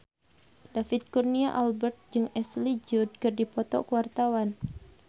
David Kurnia Albert jeung Ashley Judd keur dipoto ku wartawan